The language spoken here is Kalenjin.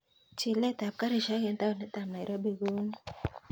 Chilet ap karishek en taonit ap nairobi kounee